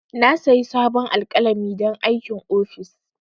Na sayi sabon alƙalami don aikin office.